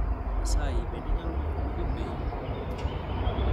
Asayi bende inyalo dwoko dwondi piny